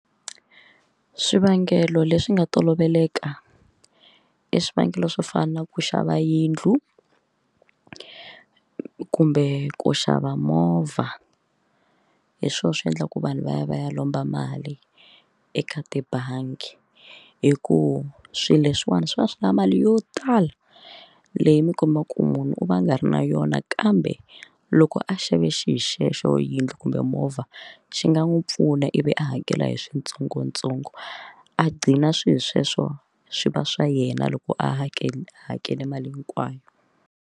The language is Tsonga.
Swivangelo leswi nga toloveleka i swivangelo swo fana na ku xava yindlu kumbe ku xava movha hi swona swi endlaka ku vanhu va ya va ya lomba mali eka tibangi hi ku swilo leswiwani swi va swi lava mali yo tala leyi mi kombaka ku munhu u va a nga ri na yona kambe u loko a xave xihi xexo yindlu kumbe movha xi nga n'wi pfuna ivi a hakela hi switsongotsongo a gqina swilo sweswo swi va swa yena loko a hakela hakele mali hinkwayo.